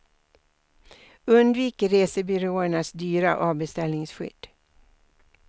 Undvik resebyråernas dyra avbeställningsskydd.